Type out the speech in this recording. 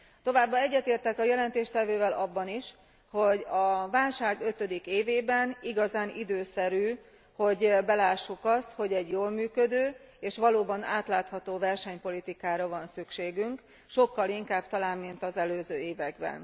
Továbbá egyetértek a jelentéstevővel abban is, hogy a válság ötödik évében igazán időszerű, hogy belássuk azt, hogy egy jól működő és valóban átlátható versenypolitikára van szükségünk, sokkal inkább talán, mint az előző években.